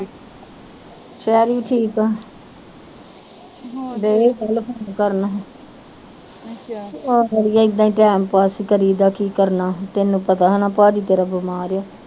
ਸ਼ੈਰੀ ਠੀਕ ਆ ਦਈ ਫੋਨ ਕਰਨ ਆਹੋ ਅੜੀਏ ਏਦਾਂ ਈ ਟਾਇਮਪਾਸ ਕਰੀਦਾ ਕੀ ਕਰਨਾ ਹੁਣ ਤੈਨੂੰ ਪਤਾ ਹੇਨਾ ਭਾਜੀ ਤੇਰਾ ਤੇਰਾ ਬਿਮਾਰ ਆ।